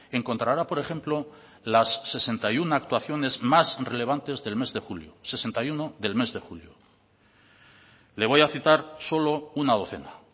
encontrará por ejemplo las sesenta y uno actuaciones más relevantes del mes de julio sesenta y uno del mes de julio le voy a citar solo una docena